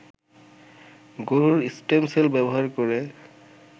গরুর stem cell ব্যবহার করে